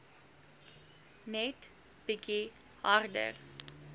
net bietjie harder